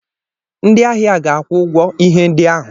Ndịahia ga-akwụ ụgwọ ihe ndị ahụ.